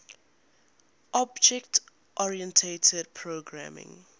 object oriented programming